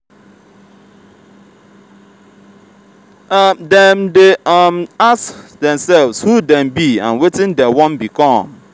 dem de um ask themselves who them be and wetin dem won become